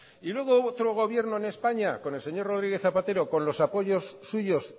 y luego hubo otro gobierno en españa con el señor rodríguez zapatero con los apoyos suyos